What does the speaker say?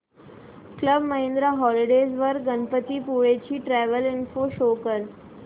club Mahindra holidays वर गणपतीपुळे ची travel info show कर